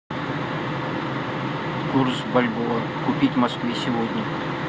курс бальбоа купить в москве сегодня